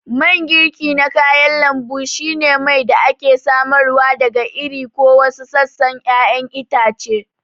Mangirki na kayan lambu shine mai da ake samarwa daga iri ko wasu sassan ƴaƴan itace.